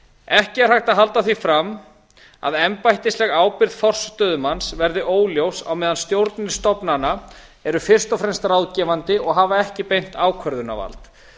ekki er hægt að halda því fram að embættisleg ábyrgð forstöðumanns verði óljós á meðan stjórnir stofnana eru fyrst og fremst ráðgefandi og hafa ekki beint ákvörðunarvald